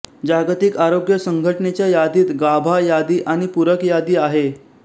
जागतिक आरोग्य संघटनेच्या यादीत गाभा यादी आणि पूरक यादी आहे